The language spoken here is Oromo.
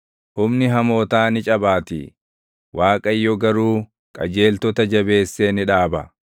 humni hamootaa ni cabaatii; Waaqayyo garuu qajeeltota jabeessee ni dhaaba.